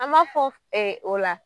An b'a fɔ ɛ o la